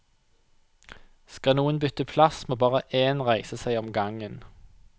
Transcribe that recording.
Skal noen bytte plass, må bare én reise seg om gangen.